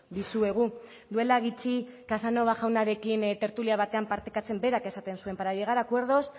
dizuegu duela gutxi casanova jaunarekin tertulia batean partekatzen berak esaten zuen para llegar a acuerdos